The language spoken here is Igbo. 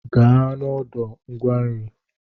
Gaa n'ọdụ ngwa nri!